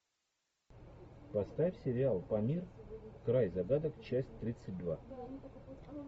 поставь сериал памир край загадок часть тридцать два